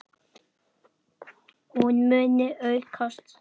Hún muni aukast!